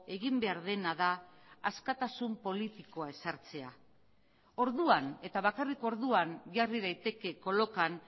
egin behar dena da askatasun politikoa ezartzea orduan eta bakarrik orduan jarri daiteke kolokan